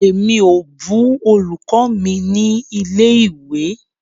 Emi o bù olùkọ́ mi ni ilé ìwé.